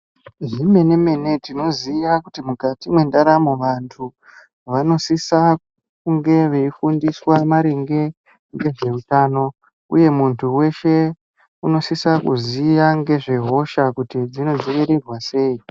Zvemene-mene tinoziya kuti mukati mendaramo vantu vanosisa kunge veifundiswa maringe ngezveutano, uye muntu veshe unosisa kuziya ngezvehoshak uti dzinodzirirwa sei.